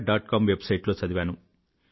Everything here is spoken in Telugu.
com websiteలో చదివాను